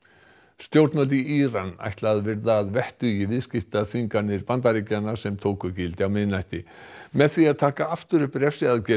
stjórnvöld í Íran ætla að virða að vettugi viðskiptaþvinganir Bandaríkjanna sem tóku gildi á miðnætti með því að taka aftur upp refsiaðgerðir